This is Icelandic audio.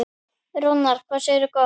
Rúnar, hvað segirðu gott?